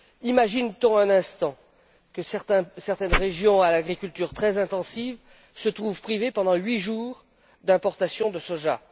Imaginons un instant que certaines régions à l'agriculture très intensive se trouvent privées pendant huit jours d'importation de soja.